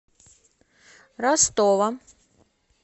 ростова